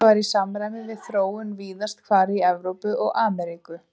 Þetta var í samræmi við þróun víðast hvar í Evrópu og Ameríku.